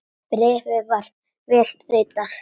Bréfið var vel ritað.